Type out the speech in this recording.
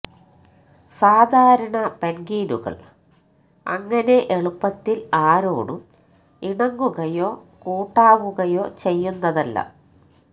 സാധാരണ പെൻഗ്വിനുകൾ അങ്ങനെ എളുപ്പത്തിൽ ആരോടും ഇണങ്ങുകയോ കൂട്ടാവുകയോ ചെയ്യുന്നതല്ല